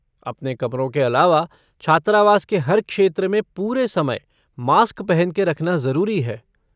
अपने कमरों के अलावा, छात्रावास के हर क्षेत्र में पूरे समय मास्क पहन के रखना जरुरी है।